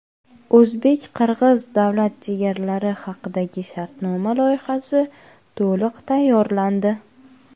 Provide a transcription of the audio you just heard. O‘zbek-qirg‘iz Davlat chegaralari haqidagi shartnoma loyihasi to‘liq tayyorlandi.